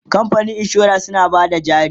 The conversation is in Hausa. kamfanin insura suna Bada jari